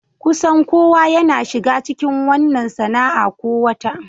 Kusan kowa yana shiga cikin wannan sana'a ko wata.